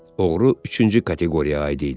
Oğru üçüncü kateqoriyaya aid idi.